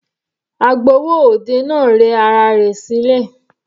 Agbowó òde náà rẹ ara rẹ̀ sílẹ̀.